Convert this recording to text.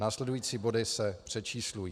Následující body se přečíslují.